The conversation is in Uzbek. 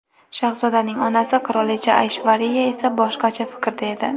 Shahzodaning onasi qirolicha Ayshvariya esa boshqacha fikrda edi.